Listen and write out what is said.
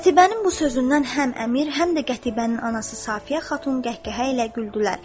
Qətibənin bu sözündən həm əmir, həm də Qətibənin anası Safiyə xatun qəhqəhə ilə güldülər.